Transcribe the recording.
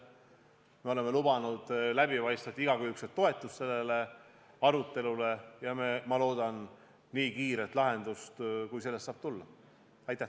Me oleme lubanud igakülgset läbipaistvat toetust selles arutelus ja ma loodan nii kiiret lahendust, kui see on võimalik.